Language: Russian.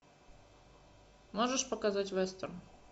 можешь показать вестерн